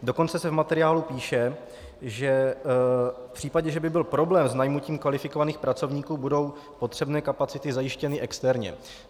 Dokonce se v materiálu píše, že v případě, že by byl problém s najmutím kvalifikovaných pracovníků, budou potřebné kapacity zajištěny externě.